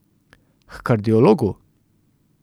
H kardiologu!